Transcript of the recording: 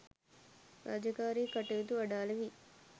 රාජකාරී කටයුතු අඩාල වී